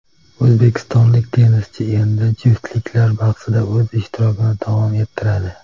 O‘zbekistonlik tennischi endi juftliklar bahsida o‘z ishtirokini davom ettiradi.